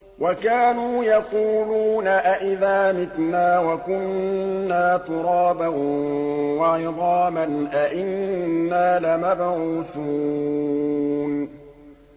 وَكَانُوا يَقُولُونَ أَئِذَا مِتْنَا وَكُنَّا تُرَابًا وَعِظَامًا أَإِنَّا لَمَبْعُوثُونَ